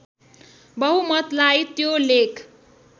बहुमतलाई त्यो लेख